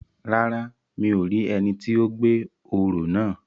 Rárá, mi ò rí ẹni ti ó gbé òró náà